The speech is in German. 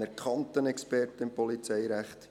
Er ist ein anerkannter Experte im Polizeirecht.